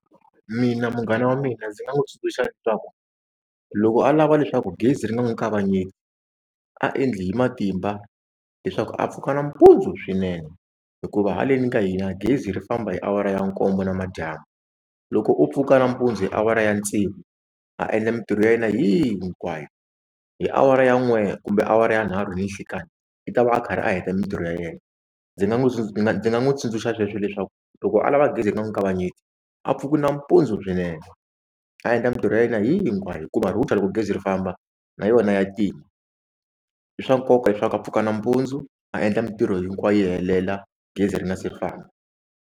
Mina munghana wa mina ndzi nga n'wi tsundzuxa leswaku loko a lava leswaku gezi ri nga n'wi kavanyeti a endli hi matimba leswaku a pfuka nampundzu swinene hikuva haleni ka hina gezi ri famba hi awara ya nkombo namadyambu loko u pfuka nampundzu hi awara ya tsevu a endla mintirho ya yena hinkwayo hi awara ya n'we kumbe awara ya nharhu ninhlikani i ta va a karhi a heta mintirho ya yena ndzi nga n'wi ndzi nga n'wi tsundzuxa sweswo leswaku loko a lava gezi ri nga n'wi kavanyeti a pfuka nampundzu swinene a endla mintirho ya yena hinkwayo hikuva router loko gezi ri famba na yona ya tima i swa nkoka leswaku a pfuka nampundzu a endla mintirho hinkwayo yi helela gezi ri nga se ri famba.